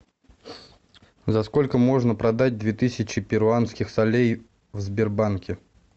за сколько можно продать две тысячи перуанских солей в сбербанке